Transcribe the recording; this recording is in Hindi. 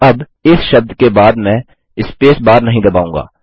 अब इस शब्द के बाद मैं स्पेस बार नहीं दबाऊँगा